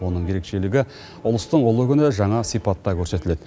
оның ерекшелігі ұлыстың ұлы күні жаңа сипатта көрсетіледі